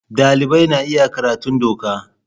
Dalibai na iya karatun doka.